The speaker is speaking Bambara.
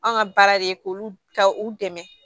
Anw ka baara de ye k'olu ka u dɛmɛ